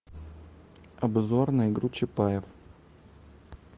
обзор на игру чапаев